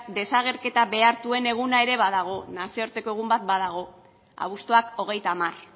desagerketa behartuen eguna ere badago nazioarteko egun bat badago abuztuak hogeita hamar